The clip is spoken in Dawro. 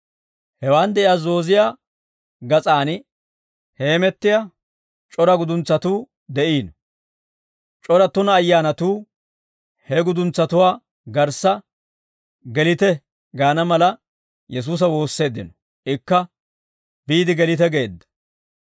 Hewaan de'iyaa zooziyaa gas'aan hemettiyaa c'ora guduntsatuu de'iino. C'ora tuna ayyaanatuu, he guduntsatuwaa garssa, «Gelite» gaana mala Yesuusa woosseeddino. Ikka, «Biide gelite» geedda.